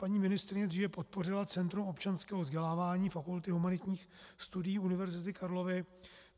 Paní ministryně dříve podpořila Centrum občanského vzdělávání Fakulty humanitních studií Univerzity Karlovy.